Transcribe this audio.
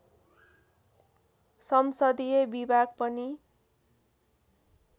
संसदीय विभाग पनि